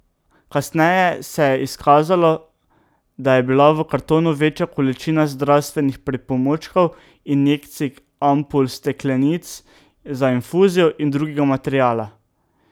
Kasneje se je izkazalo, da je bila v kartonu večja količina zdravstvenih pripomočkov, injekcij, ampul, steklenic za infuzijo in drugega materiala.